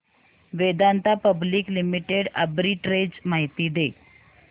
Vedanta public limited arbitrage माहिती दे